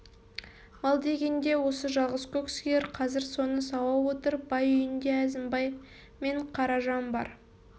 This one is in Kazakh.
мал дегенде осы жалғыз көк сиыр қазір соны сауа отырып бай үйінде әзімбай мен қаражан бар